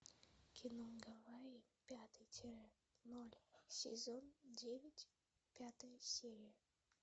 кино гавайи пятый тире ноль сезон девять пятая серия